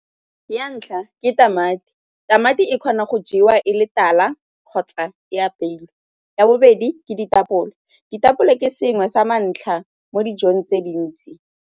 Ya ntlha ke tamati, tamati e kgona go jewa e le tala kgotsa e apeilwe. Ya bobedi ke ditapole, ditapole ke sengwe sa ntlha mo dijong tse dintsi.